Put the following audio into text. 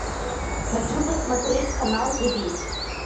хочу посмотреть канал живи